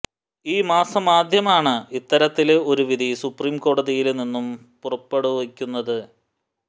ഈ മാസമാദ്യമാണ് ഇത്തരത്തില് ഒരു വിധി സുപ്രീം കോടതിയില് നിന്നും പുറപ്പെടുവിക്കുന്നത്